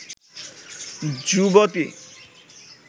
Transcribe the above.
যুবতী